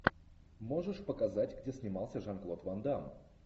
можешь показать где снимался жан клод ван дамм